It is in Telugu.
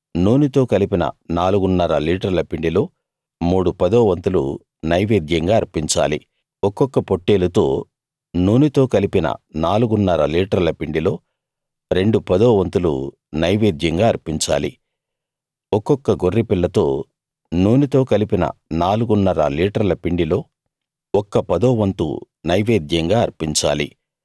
నూనెతో కలిపిన నాలుగున్నర లీటర్ల పిండిలో మూడు పదోవంతులు నైవేద్యంగా అర్పించాలి ఒక్కొక్క పొట్టేలుతో నూనెతో కలిపిన నాలుగున్నర లీటర్ల పిండిలో రెండు పదోవంతులు నైవేద్యంగా అర్పించాలి ఒక్కొక్క గొర్రెపిల్లతో నూనెతో కలిపిన నాలుగున్నర లీటర్ల పిండిలో ఒక్క పదో వంతు నైవేద్యంగా అర్పించాలి